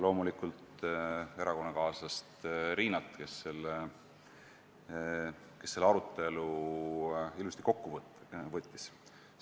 Loomulikult tänan ka erakonnakaaslast Riinat, kes selle arutelu ilusti kokku võttis.